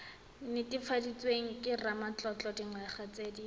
netefaditsweng ke ramatlotlo dingwaga tse